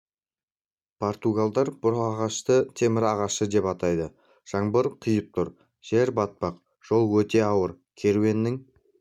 португалдар бұл ағашты темір ағаш деп атайды жаңбыр құйып тұр жер батпақ жол өте ауыр керуеннің